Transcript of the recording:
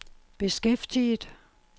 beskæftiget